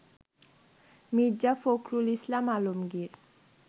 Mirza Fakhrul Islam Alamgir